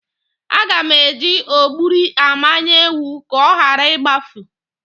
Aga m eji ọgbụrị amaye ewu ka ọ ghara igbafu.